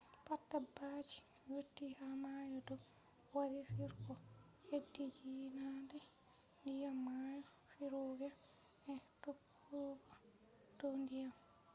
pat dabbaji yotti ha mayo do wari on ko hediyiinadee diyam mayo firugo e tokkugo dow diyam